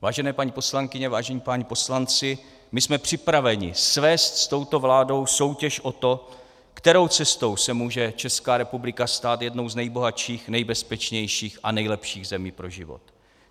Vážené paní poslankyně, vážení páni poslanci, my jsme připraveni svést s touto vládou soutěž o to, kterou cestou se může Česká republika stát jednou z nejbohatších, nejbezpečnějších a nejlepších zemí pro život.